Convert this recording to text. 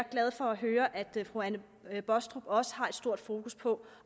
glad for at høre at fru anne baastrup også har stort fokus på